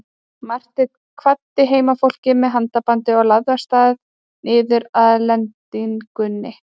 Marteinn kvaddi heimafólkið með handabandi og lagði af stað niður að lendingunni.